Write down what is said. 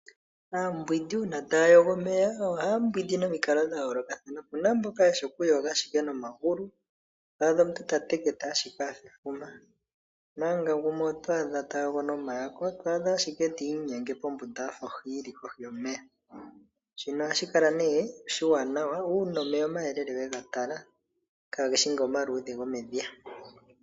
Aambwindi uuna taayogo omeya ohaa mbwinda pamikalo dhayoolokathana, opuna mboka yeshi okumbwinda nomagulu twaadha omuntu tateketa ashike afa efuma, mpanga gumwe otwaadha tayogo noma yako twaadha ashike tiinyenge pombunda afa ohi yili kohi yomeya. Shino ohashi kala nee oshiwanawa uuna omeya omayelele wegatala kaageshi nga nomaluudhe gomedhiya.